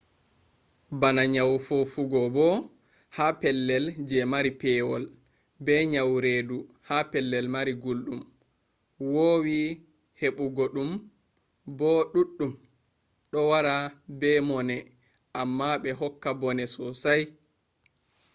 bana nyawu fofugo bo ha pellel je mari pewol be nyawu redu ha pellel mari gulɗum wowi heɓu go ɗum bo ɗuɗɗum ɗo wara be mone amma bo hokka bone sosai